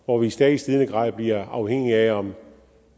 hvor vi i stadig stigende grad bliver afhængige af om